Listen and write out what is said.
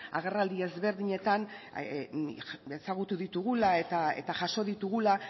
agerraldi ezberdinetan ezagutu ditugula eta jaso ditugula